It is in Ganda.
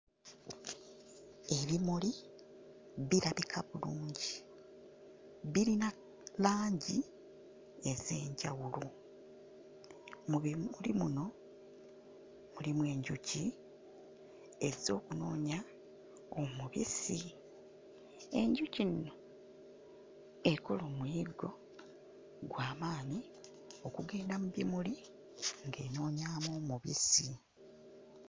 Ebimuli birabika bulungi. Birina langi ez'enjawulo. Mu bimuli muno mulimu enjuki ezze okunoonya omubisi. Enjuki eno ekola omuyiggo gwa maanyi okugenda mu bimuli ng'enoonyaamu omubisi.